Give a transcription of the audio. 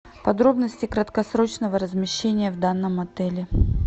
подробности краткосрочного размещения в данном отеле